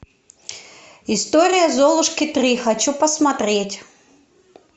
история золушки три хочу посмотреть